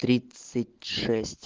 тридцать шесть